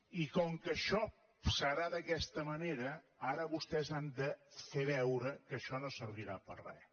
i com que això serà d’aquesta manera ara vostès han de fer veure que això no servirà per a res